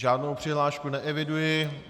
Žádnou přihlášku neeviduji.